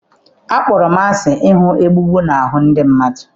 Akpọrọ m asị ịhụ egbugbu na ahụ ndị mmadụ.